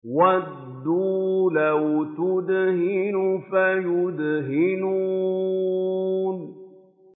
وَدُّوا لَوْ تُدْهِنُ فَيُدْهِنُونَ